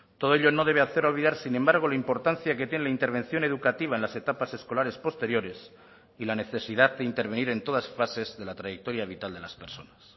todo ello no debe hacer olvidar sin embargo la importancia que tiene la intervención educativa en las etapas escolares posteriores y la necesidad de intervenir en todas fases de la trayectoria vital de las personas